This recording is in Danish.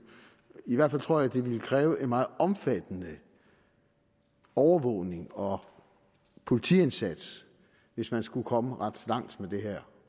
i hvert fald tror jeg det ville kræve en meget omfattende overvågning og politiindsats hvis man skulle komme ret langt med det her